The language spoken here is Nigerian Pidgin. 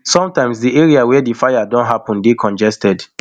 sometimes di areas wia di fire don happun dey congested